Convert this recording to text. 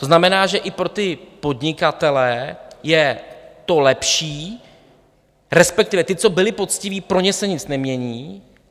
To znamená, že i pro ty podnikatele je to lepší, respektive ti, co byli poctiví, pro ně se nic nemění.